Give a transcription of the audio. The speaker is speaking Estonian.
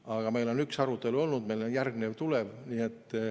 Aga meil on üks arutelu olnud ja järgmine tuleb.